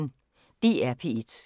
DR P1